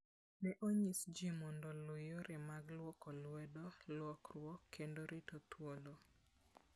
Ne onyis ji mondo oluw yore mag lwoko lwedo, lwokruok, kendo rito thuolo.